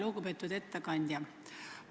Lugupeetud ettekandja!